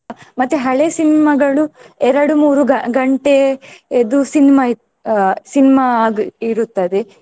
ಮತ್ತೆ ಹಳೆ cinema ಗಳು ಎರಡು ಮೂರು ಗ~ ಗಂಟೆ ಇದು cinema ಅಹ್ cinema ಆಗಿ ಇರುತ್ತದೆ.